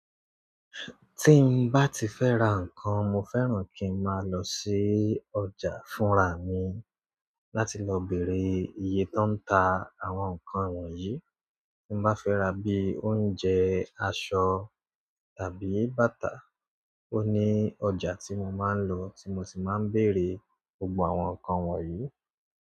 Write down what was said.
Tí n bá ti fẹ́ ra nǹkan, mo fẹ́ràn kí ń máa lọ sí ọjà fúnrà mi láti lọ bèèrè iye tań ta àwọn nǹkan wọ̀nyí. Tí n bá fẹ́ ra bí i oúnjẹ, aṣọ tàbí bàtà, òní ọjà tí mo máa ń lọ tí mo sì máa ń bèèrè gbogbo àwọn nǹkan wọ̀nyí.